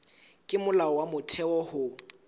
ke molao wa motheo ho